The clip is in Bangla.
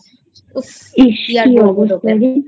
ইস কী অবস্থা রে